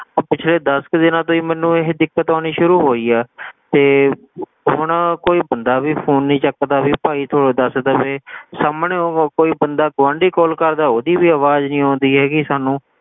ਆਹ ਪਿਛਲੇ ਦਸ ਕ ਦਿਨਾਂ ਤੋਂ ਹੀ ਮੈਨੂੰ ਇਹ ਦਿੱਕਤ ਆਉਣੀ ਸ਼ੁਰੂ ਹੋਈ ਆ ਤੇ ਹੁਣ ਕੋਈ ਬੰਦਾ ਵੀ phone ਨੀ ਚੱਕਦਾ ਵੀ ਭਾਈ ਤੂੰ ਦੱਸ ਤਾਂ ਦੇ ਸਾਹਮਣੇ ਉਹ ਕੋਈ ਬੰਦਾ ਗੁਆਂਢੀ call ਕਰਦਾ ਉਹਦੀ ਵੀ ਆਵਾਜ਼ ਨੀ ਆਉਂਦੀ ਹੈਗੀ ਸਾਨੂੰ,